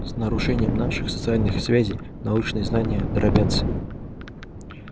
с нарушением наших социальных связей научные знания дробятся